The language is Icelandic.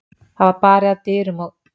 Það var barið að dyrum og